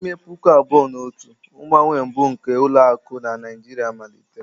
N'ime puku abụọ na otu, mgbanwe mbụ nke ụlọ akụ na Naijiria malitere.